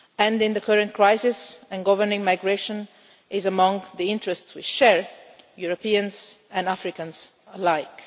In the current crisis, governing migration is among the interests we share, Europeans and Africans alike.